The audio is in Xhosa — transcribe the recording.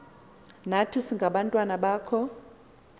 nathi singabantwana bakho